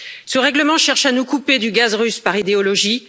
Ce règlement cherche à nous couper du gaz russe par idéologie.